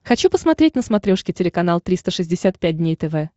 хочу посмотреть на смотрешке телеканал триста шестьдесят пять дней тв